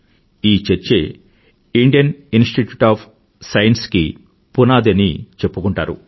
ఈ చర్చే Indian institute of science కి పునాది అని చెప్పుకుంటారు